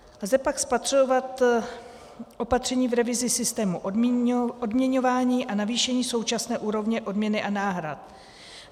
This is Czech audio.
Lze pak spatřovat opatření v revizi systému odměňování a navýšení současné úrovně odměny a náhrad.